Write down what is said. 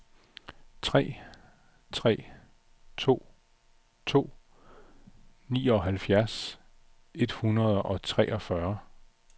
tre tre to to nioghalvfjerds et hundrede og treogfyrre